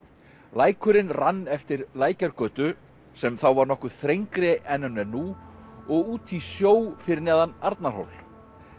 lækurinn rann eftir Lækjargötu sem þá var nokkuð þrengri en hún er nú og út í sjó fyrir neðan Arnarhól